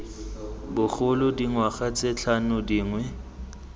bogolo dingwaga tse tlhano dingwe